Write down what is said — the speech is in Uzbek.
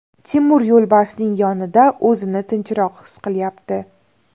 Timur yo‘lbarsning yonida o‘zini tinchroq his qilyapti.